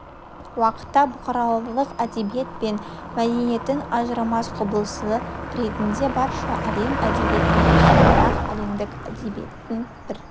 уақытта бұқаралық әдебиет пен мәдениеттің ажырамас құбылысы ретінде барша әлем әдебиетінде сондай-ақ әлемдік әдебиеттің бір